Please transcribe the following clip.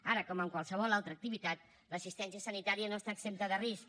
ara com en qualsevol altra activitat l’assistència sanitària no està exempta de risc